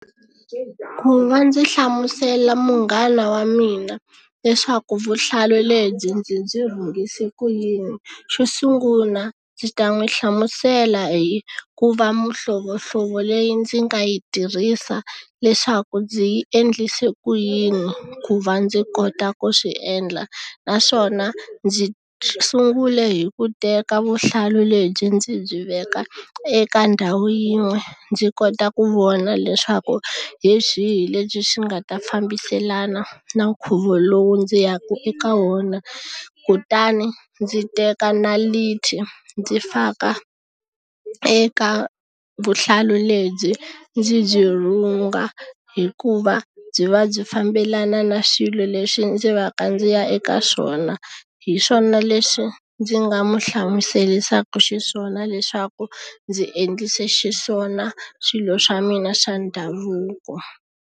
Ku va ndzi hlamusela munghana wa mina leswaku vuhlalu lebyi ndzi byi rhungise ku yini xo sungula ndzi ta n'wi hlamusela hi ku va mihlovohlovo leyi ndzi nga yi tirhisa leswaku ndzi yi endlise ku yini ku va ndzi kota ku swi endla naswona ndzi sungule hi ku teka vuhlalu lebyi ndzi byi veka eka ndhawu yin'we ndzi kota ku vona leswaku hi swihi leswi swi nga ta fambiselana na nkhuvo lowu ndzi yaka eka wona kutani ndzi teka ndzi faka eka vuhlalu lebyi ndzi byi rhunga hikuva byi va byi fambelana na xilo lexi ndzi va ka ndzi ya eka swona hi swona leswi ndzi nga mu hlamuserisaka xiswona leswaku ndzi endlise xiswona swilo swa mina swa ndhavuko.